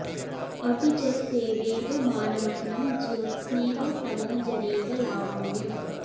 अपि च सेवेव मानमखिलं ज्योत्स्नेव तमो जरेव लावण्यम्